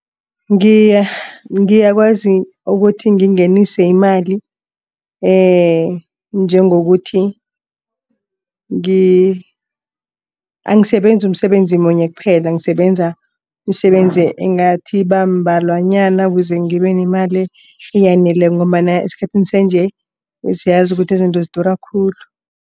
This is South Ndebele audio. Ngiyakwazi ukuthi ngingenise imali njengokuthi angisebenzi umsebenzi munye kuphela. Ngisebenza imisebenzi engathi iba mbalwa nanyana ukuze ngibe nemali eyaneleko ngombana esikhathini sanje siyazi ukuthi izinto zidura khulu.